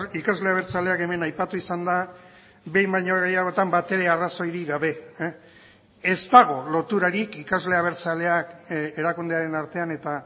ikasle abertzaleak hemen aipatu izan da behin baino gehiagotan batere arrazoirik gabe ez dago loturarik ikasle abertzaleak erakundearen artean eta